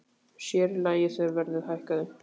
Sér í lagi þegar verðið hækkaði.